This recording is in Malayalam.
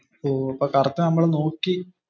ഓപ്പോ. അപ്പോ കറക്റ്റ് നമ്മൾ നോക്കി